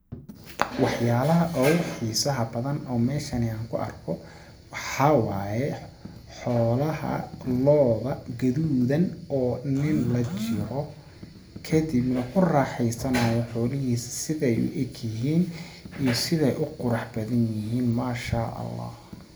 Waxyaalaha ugu xiisaha badan oo meeshani aan ku arko waxaa waaye xoolaha looda gaduudan oo nin la jiro kadibna ku raxeysanaayo xoolahiisa sideey u eg yihiin iyo sideey u qurax badan yihiin masha Allah .